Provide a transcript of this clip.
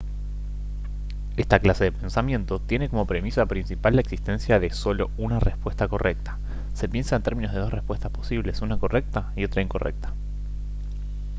esta clase de pensamiento tiene como premisa principal la existencia de solo una respuesta correcta se piensa en términos de dos respuestas posibles una correcta y otra incorrecta